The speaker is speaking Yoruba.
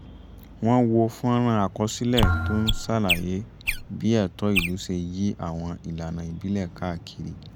wọ́n wo fọ́nrán àkọsílẹ̀ tó ń ṣàlàyé bí ẹ̀tọ́ ìlú ṣe yí àwọn ìlànà ìbílẹ̀ káàkiri